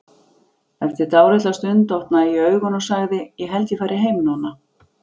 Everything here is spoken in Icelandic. Eftir dálitla stund opnaði ég augun og sagði: Ég held að ég fari heim núna.